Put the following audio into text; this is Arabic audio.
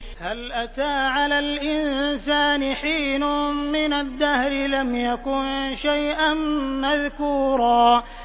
هَلْ أَتَىٰ عَلَى الْإِنسَانِ حِينٌ مِّنَ الدَّهْرِ لَمْ يَكُن شَيْئًا مَّذْكُورًا